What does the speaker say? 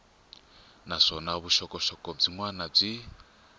naswona vuxokoxoko byin wana byi